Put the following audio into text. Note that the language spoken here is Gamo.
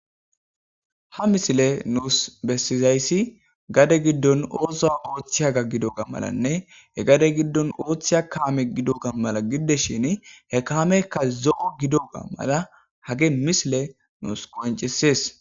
ha misile nuus bessizayssi gade giddon oosoa ooththiya gaggidoga malanne he gade giddon ooththiya kaame gidoga mala giddes shin he kaamekka zo7o gidoga mala hage misile nuus koncesees